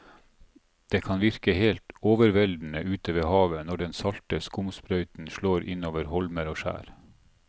Det kan virke helt overveldende ute ved havet når den salte skumsprøyten slår innover holmer og skjær.